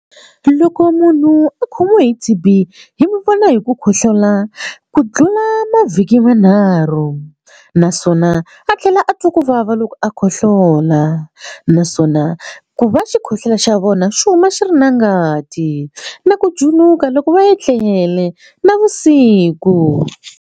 Loko munhu a khomiwe hi T_B hi n'wi vona hi ku khohlola ku tlula mavhiki manharhu naswona a tlhela a twa ku vava loko a khohlola naswona ku va xikhohlola xa vona xi huma xi ri na ngati na ku juluka loko va etlele navusiku.